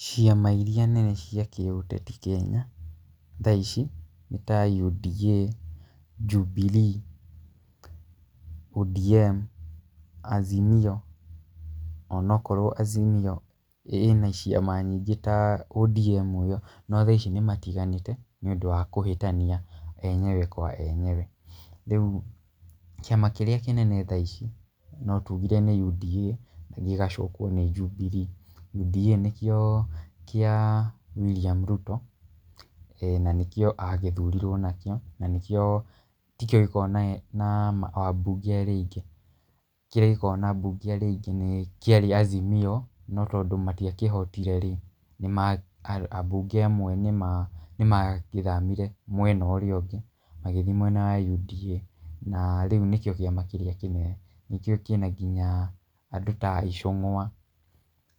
Ciama irĩa nene cia kĩũteti Kenya thaa ici nĩ ta UDA, Jubilee, ODM, Azimio, ona okorwo Azimio ĩna ciama nyingĩ ta ODM, no thaa ici nĩ matiganĩte nĩ ũndũ wa kũhĩtania enyewe kwa enyewe. Rĩu kĩama kĩrĩa kĩnene thaa ici no tugire nĩ UDA gĩgacokwo nĩ Jubilee. UDA nĩkĩo kĩa William Ruto na nĩkĩo agĩthurirwo nakĩo na tikĩo gĩkoragwo na abunge arĩa aingĩ. Kĩrĩa gĩkoragwo na abunge arĩa aingĩ nĩkĩarĩ Azimio, no tondũ matiakĩhotire rĩ, abunge amwe nĩmagĩthamire mwena ũrĩa ũngĩ magĩthiĩ mwena wa UDA. Na rĩu nĩkĩo kĩama kĩrĩa kĩna nginya andũ ta Icungwa,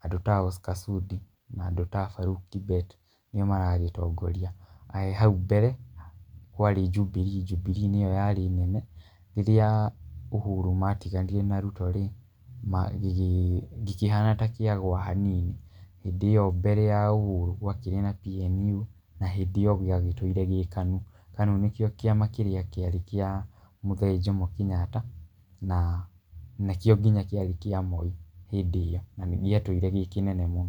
andũ ta Oscar Sudi na andũ ta Farouk Kibet nĩo maragĩtongoria. Hau mbere kwarĩ Jubilee, Jubilee nĩyo yarĩ nene. Rĩrĩa Uhuru matiganire na Ruto rĩ, gĩkĩhana ta kĩagũa hanini. Hĩndĩ ĩyo mbere ya Uhuru gwakĩrĩ na PNU na hĩndĩ ĩyo gĩagĩtũire gĩ KANU. KANU nĩkĩo kĩama kĩrĩa kĩarĩ kĩ mũthee Jomo Kenyatta na nĩkĩo nginya kĩarĩ kĩa Moi hĩndĩ ĩyo. Na nĩ gĩatũire gĩ kĩnene mũno...